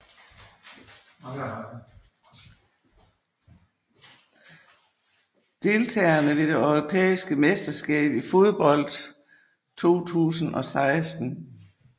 Deltagere ved det europæiske mesterskab i fodbold 2016